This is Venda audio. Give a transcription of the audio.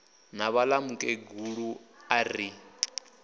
na vhaḽa mukegulu a ri